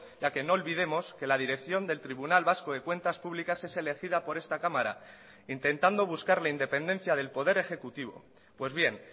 ya que no olvidemos que la dirección del tribunal vasco de cuentas públicas es elegida por esta cámara intentando buscar la independencia del poder ejecutivo pues bien